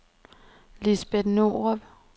Lisbet Norup